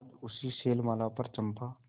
आज उसी शैलमाला पर चंपा